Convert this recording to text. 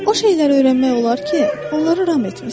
O şeyləri öyrənmək olar ki, onları ram etmisən.